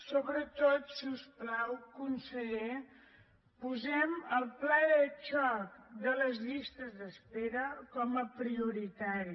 sobretot si us plau conseller posem el pla de xoc de les llistes d’espera com a prioritari